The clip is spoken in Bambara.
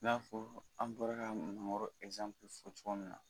I n'a fɔ an bɔra ka mangoro fɔ cogo min na